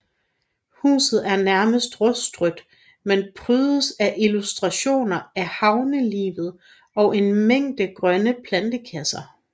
Huset er nærmest rustrødt men prydes af illustrationer af havnelivet og en mængde grønne plantekasser